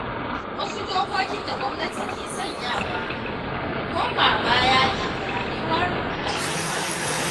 Wasu dokokin da gwamnati ke sanyawa, koma-baya ne ga rayuwar alumma.